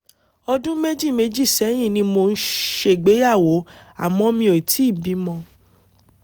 ọdún méjì méjì sẹ́yìn ni mo ṣègbéyàwó àmọ́ mi ò tíì bímọ